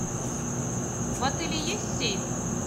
в отеле есть сейф